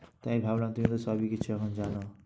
তাই ভাবলাম তুমি তো সব কিছু এখন জানো।